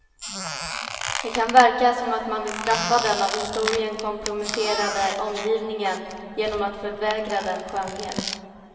Det kan verka som att man vill straffa den av historien komprometterade omgivningen genom att förvägra den skönhet.